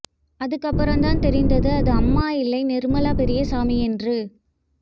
அதுக்கு அப்புறம் தான் தெரிந்தது அது அம்மா இல்லை நிர்மலா பெரியசாமி என்று